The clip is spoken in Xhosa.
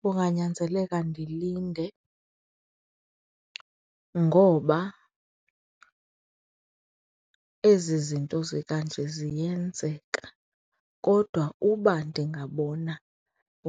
Kunganyanzeleka ndilinde ngoba ezi zinto zikanje ziyenzeka kodwa uba ndingabona